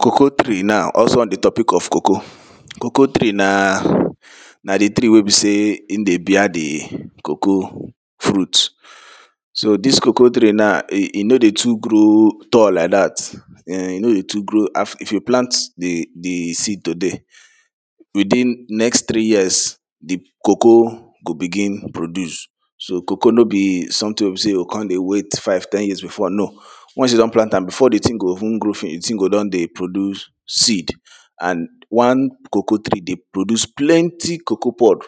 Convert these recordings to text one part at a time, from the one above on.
Cocoa tree now also on di topic of cocoa. Cocoa tree na na di tree wey be sey im dey bear di cocoa fruit so dis cocoa tree na e e no dey too grow tall like dat um e no dey too grow, if you plant di di seed today within next three years di cocoa go begin produce. So cocoa no be something wey be sey you go come dey wait five, ten years before no Once you don plant am before di thing go even grow finish, di thing go don dey produce seed and one cocoa tree dey produce plenty cocoa pod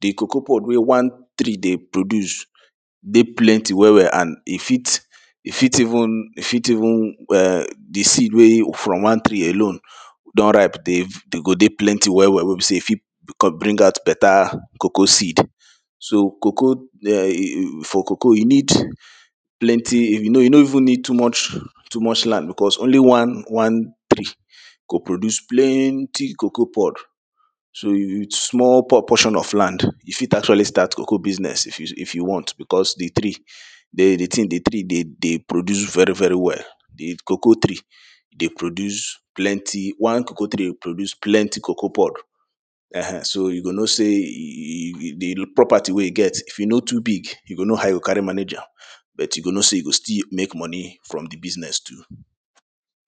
Di cocoa pod wey one tree dey produce dey plenty well well and e fit, e fit even, e fit even eh di seed wey um from one tree alone don ripe dey dey go plenty well well wey be sey e fit bring out better cocoa seed so cocoa for cocoa e need plenty e e no even need too much too much land because only one, one tree go produce plenty cocoa pod so with small por portion of land, you fit actually start cocoa business if you if you want because di tree dey di thing, di tree dey produce very very well di cocoa tree dey produce plenty, one cocoa tree dey produce plenty cocoa pod um so you go no sey di property wey you get if e no too big you go know how you carry manage am, but you go know sey you go still make money from di business too